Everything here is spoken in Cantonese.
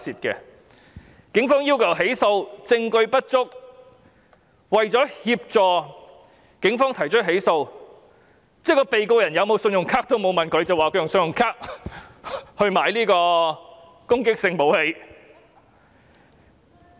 警方要求起訴，證據不足，為了協助警方起訴，連被告是否有信用卡都沒有問，便指他用信用卡購買攻擊性武器。